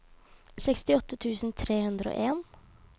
sekstiåtte tusen tre hundre og en